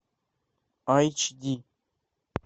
айч ди